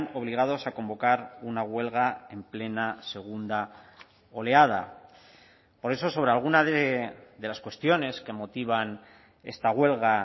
obligados a convocar una huelga en plena segunda oleada por eso sobre alguna de las cuestiones que motivan esta huelga